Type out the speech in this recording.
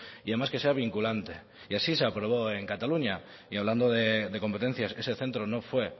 y además que sea vinculante y así se aprobó en cataluña y hablando de competencias ese centro no fue